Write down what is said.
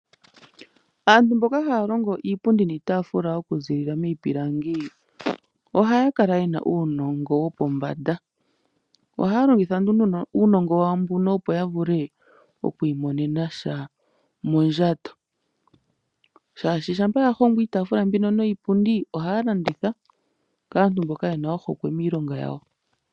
Aantu mboka haya longo iipundi niipafula okuzilila miipilangi, ohaya kala yena uunongo wopombanda. Ohaya longitha nduno uunongo wa wo mbuno opo yavule oku imonena sha mondjato, shaashi shampa yalongo iitaafula niipundi ohaya landitha kaantu mboka yena ohokwe miilonga yawo.